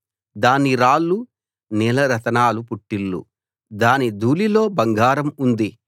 దాని రాళ్లు నీలరతనాల పుట్టిల్లు దాని ధూళిలో బంగారం ఉంది